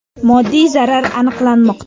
Moddiy zarar aniqlanmoqda.